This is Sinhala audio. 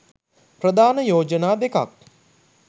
ප්‍රධාන යෝජනා දෙකක්